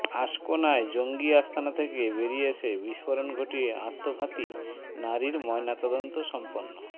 আশকোনায় জঙ্গি আস্তানা থেকে বেরিয়ে এসে বিস্ফোরণ ঘটিয়ে আত্মঘাতী নারীর ময়নাতদন্ত সম্পন্ন